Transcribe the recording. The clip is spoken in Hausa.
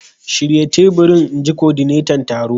Shirya teburin! In ji kodinetan taron.